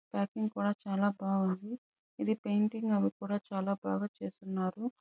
Packing కూడా చాల బాగుంది. ఇది పెయింటింగ్ అవి కూడా చాల బాగా చేస్తున్నారు.